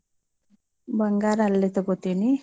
ಬಂಗಾರ ಅಲ್ಲ್ ತಗೋತೀನಿ.